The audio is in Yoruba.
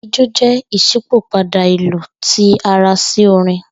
Ijó jẹ iṣipopada ilu ti ara si orin